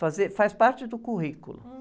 Fazer, faz parte do currículo.